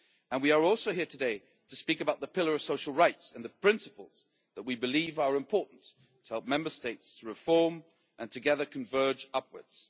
We are also here today to speak about the Pillar of Social Rights and the principles that we believe are important to help Member States to reform and together converge upwards.